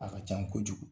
A ka can kojugu